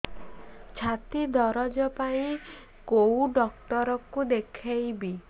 ଛାତି ଦରଜ ପାଇଁ କୋଉ ଡକ୍ଟର କୁ ଦେଖେଇବି